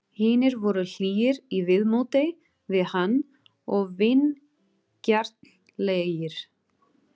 Hinir voru hlýir í viðmóti við hann og vingjarnlegir.